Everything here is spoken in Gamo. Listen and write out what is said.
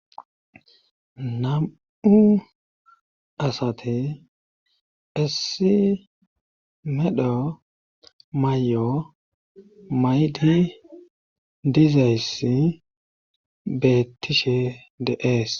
Nam'u asate essi medho may'o may di diizayssi be tishe de ees.